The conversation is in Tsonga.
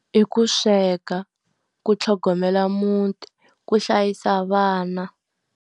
I ku sweka, ku tlhogomela muti, ku hlayisa vana.